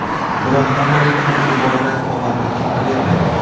Biroq hammaning ham bu borada omadi chopavermaydi.